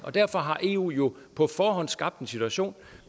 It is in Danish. derfor har eu jo på forhånd skabt en situation